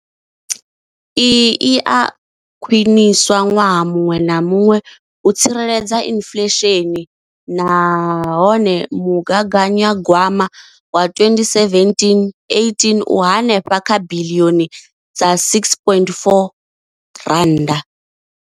Iyi i a khwiniswa ṅwaha muṅwe na muṅwe u tsireledza inflesheni nahone mugaganyagwama wa 2017-18 u henefha kha biḽioni dza R6.4.